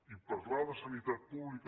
i parlar de sanitat pública